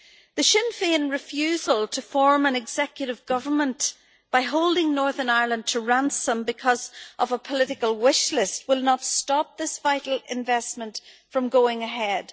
The Sinn Féin refusal to form an executive government by holding Northern Ireland to ransom because of a political wish list will not stop this vital investment from going ahead.